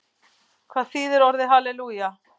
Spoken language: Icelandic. Hvað þýðir orðið halelúja?